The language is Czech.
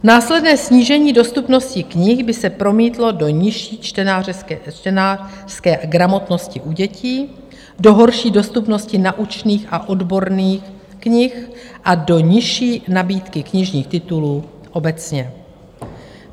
Následné snížení dostupnosti knih by se promítlo do nižší čtenářské gramotnosti u dětí, do horší dostupnosti naučných a odborných knih a do nižší nabídky knižních titulů obecně.